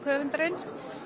höfundarins